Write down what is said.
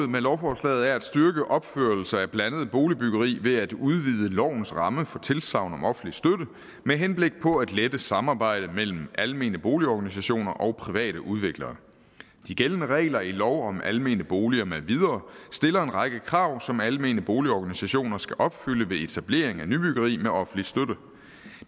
med lovforslaget er at styrke opførelse af blandet boligbyggeri ved at udvide lovens ramme for et tilsagn om offentlig støtte med henblik på at lette samarbejdet mellem almene boligorganisationer og private udviklere de gældende regler i lov om almene boliger med videre stiller en række krav som almene boligorganisationer skal opfylde ved etablering af nybyggeri med offentlig støtte